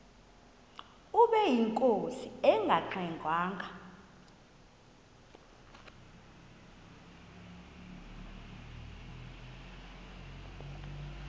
ubeyinkosi engangxe ngwanga